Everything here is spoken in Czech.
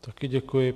Taky děkuji.